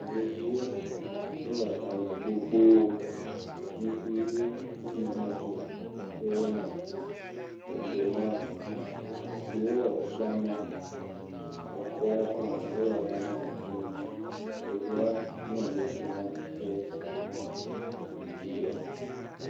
Ɖeviwo, wole hame gbogboo. Ŋutsuviwo kple nyɔnuviwo eye wonɔ edzo mla. Atsiwo le gama. Exɔwo hã wole gama fũu. Ɖeviawo wonɔ gbe dom ɖa kple dzidzɔ.